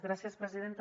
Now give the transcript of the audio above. gràcies presidenta